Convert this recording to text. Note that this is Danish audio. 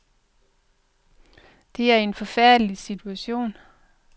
Det er en forfærdelig situation.